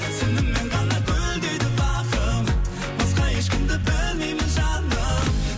сенімен ғана гүлдейді бағым басқа ешкімді білмеймін жаным